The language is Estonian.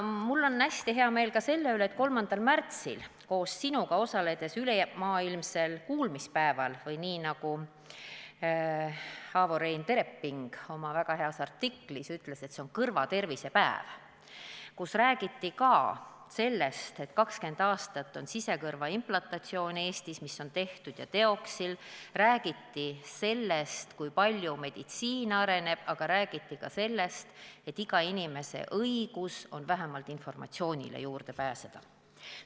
Mul on hästi hea meel ka selle üle, et 3. märtsil osalesin koos sinuga ülemaailmsel kuulmispäeval või nagu Avo-Rein Tereping oma väga heas artiklis ütles, kõrvatervise päeval, kus räägiti ka sellest, et 20 aastat on sisekõrva implantatsioone Eestis tehtud, räägiti sellest, kui palju meditsiin on arenenud, aga räägiti ka sellest, et iga inimese õigus on vähemalt informatsioonile juurde pääseda.